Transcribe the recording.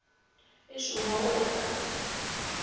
e šongwa go ya ka